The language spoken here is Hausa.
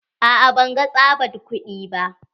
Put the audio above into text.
A'a ban ga tsabad kudi ba.